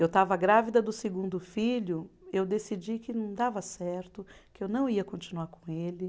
Eu estava grávida do segundo filho, eu decidi que não dava certo, que eu não ia continuar com ele.